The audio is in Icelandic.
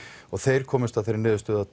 og þeir komust að þeirri niðurstöðu að